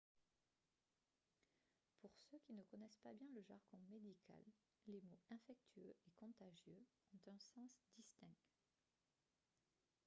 pour ceux qui ne connaissent pas bien le jargon médical les mots « infectieux » et « contagieux » ont un sens distinct